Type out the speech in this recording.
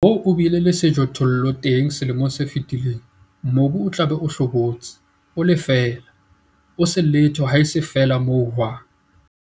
Moo o bileng le sejothollo teng selemong se fetileng, mobu o tla be o hlobotse, o le feela, ho se letho haese feela mohwang.